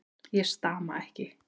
Ég stama ekki.